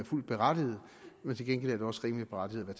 fuldt berettiget men til gengæld er det også rimelig berettiget at